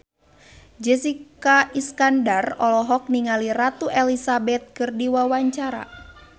Jessica Iskandar olohok ningali Ratu Elizabeth keur diwawancara